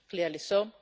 clearly so.